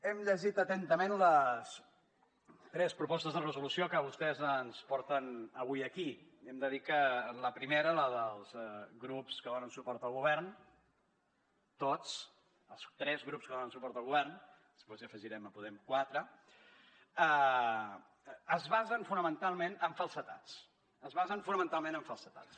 hem llegit atentament les tres propostes de resolució que vostès ens porten avui aquí hem de dir que la primera la dels grups que donen suport al govern tots els tres grups que donen suport al govern després hi afegirem podem quatre es basen fonamentalment en falsedats